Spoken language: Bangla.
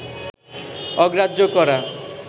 অগ্রাহ্য করা